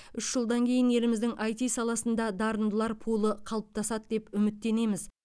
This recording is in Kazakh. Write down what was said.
үш жылдан кейін еліміздің іт саласында дарындылар пулы қалыптасады деп үміттенеміз